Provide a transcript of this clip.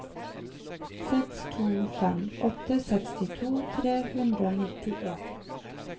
seks to fem åtte sekstito tre hundre og nittien